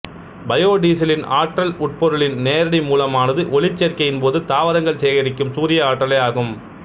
பயோடீசலின் ஆற்றல் உட்பொருளின் நேரடி மூலமானது ஒளிச்சேர்க்கையின் போது தாவரங்கள் சேகரிக்கும் சூரிய ஆற்றலே ஆகும்